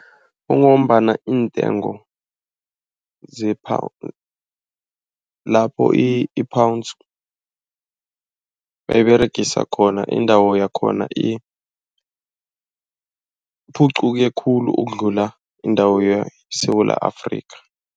Kungombana iintengo lapho i-Pounds bayiberegisa khona indawo yakhona iphuquke khulu ukudlula indawo yeSewula Afrika.